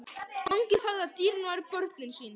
Mangi sagði að dýrin væru börnin sín.